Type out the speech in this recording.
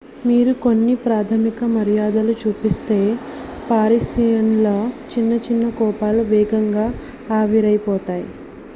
మీరు కొన్ని ప్రాథమిక మర్యాదలు చూపిస్తే పారిసియన్ల చిన్న చిన్న కోపాలు వేగంగా ఆవిరైపోతాయి